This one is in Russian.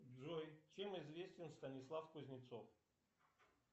джой чем известен станислав кузнецов